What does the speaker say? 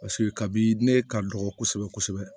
Paseke kabini ne ka dɔgɔ kosɛbɛ kosɛbɛ